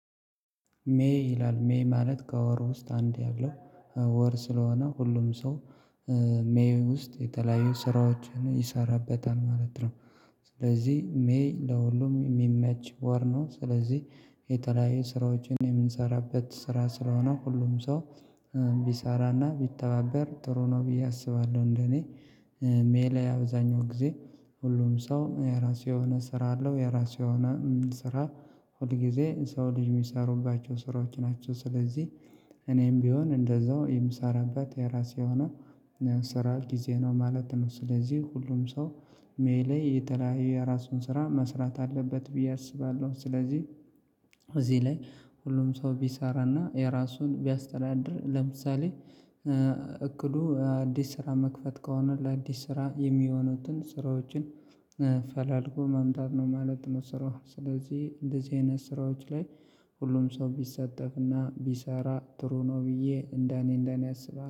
ሜይ ይላል ሜይ ማለት ከወር ውስጥ አንድ ያለው ወር ስለሆነ ሁሉም ሰው ሜይ ውስጥ የተለያዩ ስራዎችን ይሰራበታል ማለት ነው። ስለዚህ ሜይ ለሁሉም የሚመች ወር ነው ስለዚህ የተለያየ ስራዎችን የምንሰራበት ስራ ስለሆነ ሁሉም ሰው ቢሰራና ቢተባበር ጥሩ ነው ብዬ አስባለሁ። እንደኔ ሜይ ላይ አብዛኛው ጊዜ ሁሉም ሰው የራሱ የሆነ ስራ አለው የራሱ የሆነ ስራ ሁል ጊዜ ሰው ልጅ የሚሰሩባቸው ስራዎች ናቸው። ስለዚህ እኔም ቢሆን እንደዛው የምሰራበት የራሴ የሆነ ስራ ጊዜ ነው ማለት ነው። ስለዚህ ሁሉም ሰው ሜይ ላይ የተለያየ የራሱን ስራ መስራት አለበት ብዬ አስባለሁ። ስለዚህ እዚህ ላይ ሁሉም ሰው ቢሰራና የራሱን ቢያስተዳድር ለምሳሌ እቅዱ አዲስ ስራ መክፈት ከሆነ ለአዲስ ስራ የሚሆኑትን ስራዎችን ፈላልጎ ማምጣት ነው ማለት ነው። ስራው ስለዚህ እንደዚህ አይነት ስራዎች ላይ ሁሉም ሰው ቢሰጠፍ እና ቢሰራ ጥሩ ነው ብዬ እንደ እኔ እንደ እኔ አስባለሁ